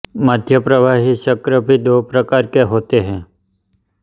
मध्यप्रवाही चक्र भी दो प्रकार के होते हैं